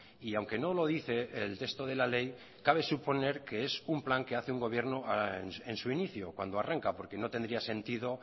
y aunque no lo dice el texto de la ley cabe suponer que es un plan que hace un gobierno en su inicio cuando arranca porque no tendría sentido